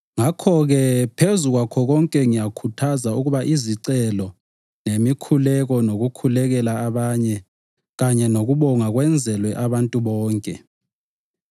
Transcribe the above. Ngakho-ke, phezu kwakho konke ngiyakhuthaza ukuba izicelo, lemikhuleko, lokukhulekela abanye kanye lokubonga kwenzelwe abantu bonke,